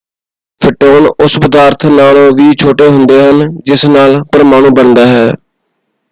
Photon ਉਸ ਪਦਾਰਥ ਨਾਲੋਂ ਵੀ ਛੋਟੇ ਹੁੰਦੇ ਹਨ ਜਿਸ ਨਾਲ ਪਰਮਾਣੂ ਬਣਦਾ ਹੈ!